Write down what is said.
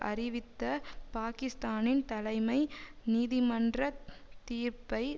அறிவித்த பாக்கிஸ்தானின் தலைமை நீதிமன்ற தீர்ப்பை